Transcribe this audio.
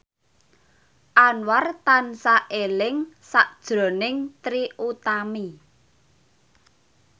Anwar tansah eling sakjroning Trie Utami